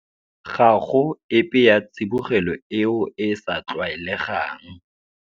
Ga go epe ya tsibogelo eo e e sa tlwaelegang.